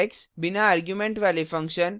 बिना arguments वाले function: